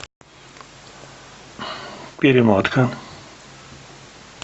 перемотка